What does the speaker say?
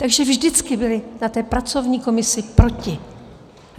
Takže vždycky byly na té pracovní komisi proti.